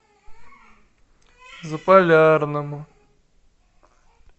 заполярному